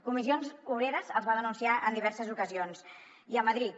comissions obreres els va denunciar en diverses ocasions i a madrid